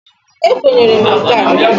E kwenyere m nka.